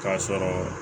K'a sɔrɔ